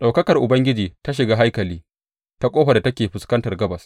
Ɗaukakar Ubangiji ta shiga haikali ta ƙofar da take fuskantar gabas.